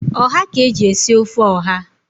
Ọha ka eji esi ofe ọha.